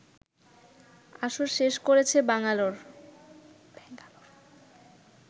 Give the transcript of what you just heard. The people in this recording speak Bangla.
আসর শেষ করেছে ব্যাঙ্গালোর